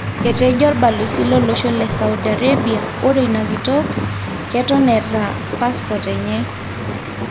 Etejo olbalosi lolosho le Saudi Arabia ore ina kitok ,keton etaa pasipot enye'